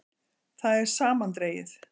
Það er samandregið.